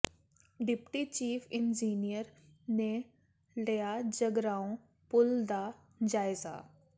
deputy chief engineer ਨੇ ਲਿਆ ਜਗਰਾਓਂ ਪੁਲ ਦਾ ਜਾਇਜ਼ਾ